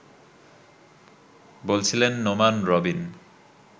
বলছিলেন নোমান রবিন